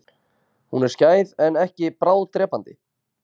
Hún er skæð en ekki bráðdrepandi.